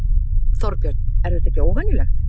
Þorbjörn: Er þetta ekki óvenjulegt?